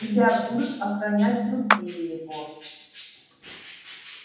тебя будут охранять другие егор